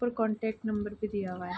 ऊपर contact number भी दिया है।